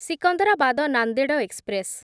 Secunderabad Nanded express